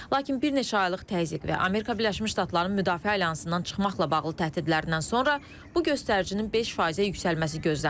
Lakin bir neçə aylıq təzyiq və Amerika Birləşmiş Ştatlarının müdafiə alyansından çıxmaqla bağlı təhdidlərindən sonra bu göstəricinin 5%-ə yüksəlməsi gözlənilir.